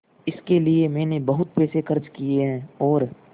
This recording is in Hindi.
इसके लिए मैंने बहुत पैसे खर्च किए हैं और